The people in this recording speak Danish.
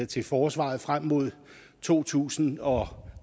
til forsvaret frem mod to tusind og